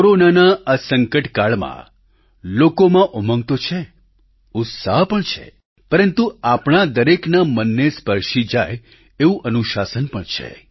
કોરોનાના આ સંકટકાળમાં લોકોમાં ઉંમગ તો છે ઉત્સાહ પણ છે પરંતુ આપણા દરેકના મનને સ્પર્શી જાય તેવું અનુશાસન પણ છે